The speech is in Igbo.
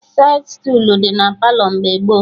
Saịd stuulu dị na Palọ mgbe gboo